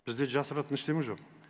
бізде жасыратын ештеңе жоқ